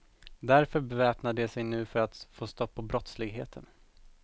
Därför beväpnar de sig nu för att få stopp på brottsligheten.